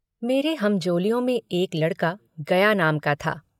मेरे हमजोलियों में एक लड़का गया नाम का था।